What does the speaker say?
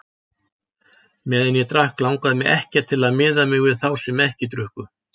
Meðan ég drakk langaði mig ekkert til að miða mig við þá sem ekkert drukku.